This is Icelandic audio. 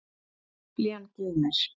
Biblían geymir.